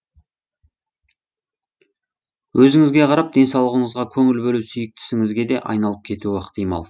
өзіңізге қарап денсаулығыңызға көңіл бөлу сүйікті ісіңізге де айналып кетуі ықтимал